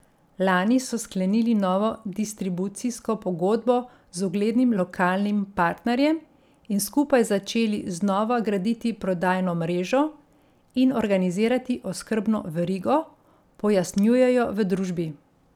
Lani so sklenili novo distribucijsko pogodbo z uglednim lokalnim partnerjem in skupaj začeli znova graditi prodajno mrežo in organizirati oskrbno verigo, pojasnjujejo v družbi.